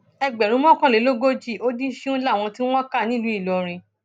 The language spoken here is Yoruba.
ẹgbẹrún mọkànlélógójì ó dín sìnún láwọn tí wọn kà nílùú ìlọrin